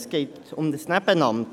Es geht um ein Nebenamt.